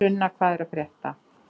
Sunna, hvað er að frétta?